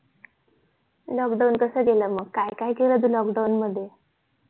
lockdown कसं गेल म तू काय काय केला lokdown मध्ये